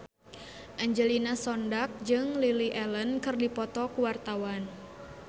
Angelina Sondakh jeung Lily Allen keur dipoto ku wartawan